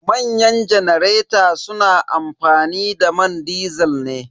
Manyan janareta su na amfani da man disil ne.